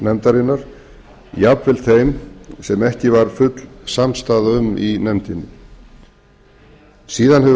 nefndarinnar jafnvel þeim sem ekki varð full samstaða um í nefndinni síðan hefur